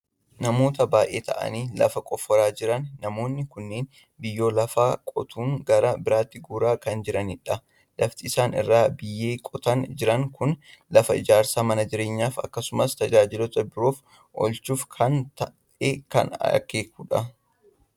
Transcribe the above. Namoota baay'ee ta'anii lafa qofforaa jiran. Namoonni kunneen biyyoo lafaa qotuun gara biraatti guuraa kan jiranidha. Lafti isaan irraa biyyee qotaa jiran kun lafa ijaarsa mana jireenyaaf akkasumas tajaajiloota biroof oolchuuf akka ta'e kan akeekudha.